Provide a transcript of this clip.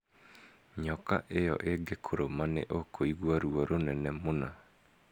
Nyoka ĩyo ĩngĩkũruma, nĩ ũkũigua ruo rũnene mũno.